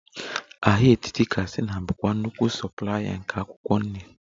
Ahịa etiti katsina bụ nnukwu soplaya nke akwụkwọ nri